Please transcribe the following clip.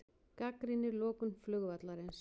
Gagnrýnir lokun flugvallarins